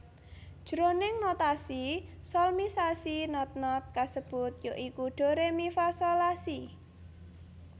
Jroning notasi solmisasi not not kasebut ya iku Do Re Mi Fa Sol La Si